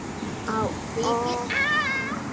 Á Ökrum